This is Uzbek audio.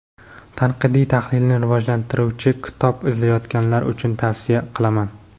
tanqidiy-tahlilni rivojlantiruvchi kitob izlayotganlar uchun tavsiya qilaman.